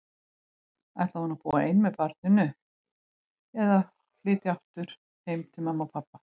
Ætlaði hún að búa ein með barninu, eða flytja aftur heim til mömmu og pabba?